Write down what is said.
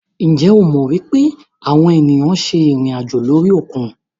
Njẹ o mọ pe awọn eniyan ṣe irinajo lori okun?